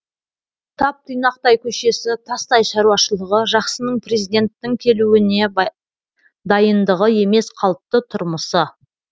тап тұйнақтай көшесі тастай шаруашылығы жақсының президенттің келуіне дайындығы емес қалыпты тұрмысы